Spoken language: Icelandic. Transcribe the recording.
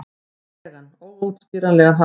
legan, óútskýranlegan hátt.